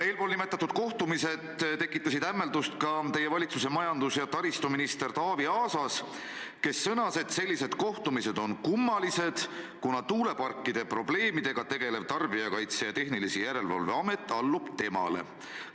Eelnimetatud kohtumised tekitasid hämmeldust ka teie valitsuse majandus- ja taristuministris Taavi Aasas, kes sõnas, et sellised kohtumised on kummalised, kuna tuuleparkidega probleemidega tegelev Tarbijakaitse ja Tehnilise Järelevalve Amet allub temale.